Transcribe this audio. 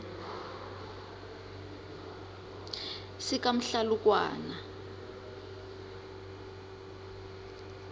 sikamhlalukwana